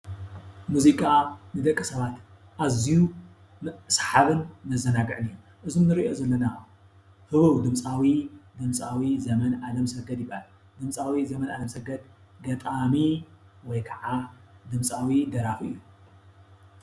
ሙዚቃ ንደቂ ሰብባት አዝዩን ሰሓብን መዛናጊዕን እዩ እዚ እንርኦ ዘለና ህውውድምፃዊ ድምጻዊ ዘመን አለም ሰገድ ይባሃልድምጻዊ ዘመን አለም ሰገድ ገጣሚ ወይካዓ ድምፃዊ ደራፊ እዩ፡፡